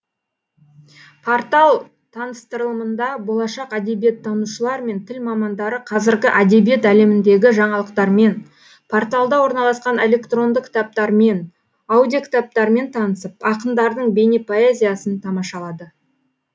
портал таныстырылымында болашақ әдебиеттанушылар мен тіл мамандары қазіргі әдебиет әлеміндегі жаңалықтармен порталда орналасқан электронды кітаптармен аудиокітаптармен танысып ақындардың бейнепоэзиясын тамашалады